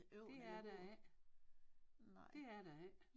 Det er der ikke det er der ikke